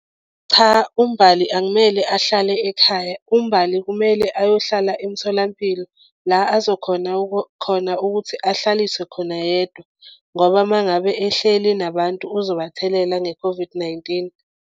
Cha, uMbali akumele ahlale ekhaya. UMbali kumele ayohlala emitholampilo la azokhona khona ukuthi ahlaliswe khona yedwa ngoba uma ngabe ehleli nabantu uzobathelela nge-COVID-19.